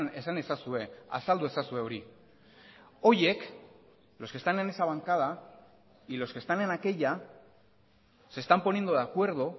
esan ezazue azaldu ezazue hori horiek los que están en esa bancada y los que están en aquella se están poniendo de acuerdo